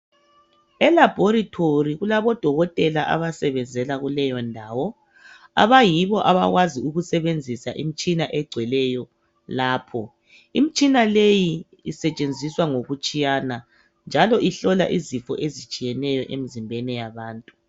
Elabhorethi kulabo dokotela abasebenzela kuleyo ndawo abayibo abakwazi ukusebenzisa imitshina egcweleyo lapho. Imitshina leyi isetshenziswa ngokutshiyana njalo ihlola izifo ezitshiyeneyo emzimbeni yabantu.